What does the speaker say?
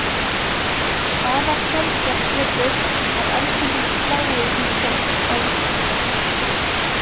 Afar sjaldgæft virðist að eldingum slái í fólk á Íslandi.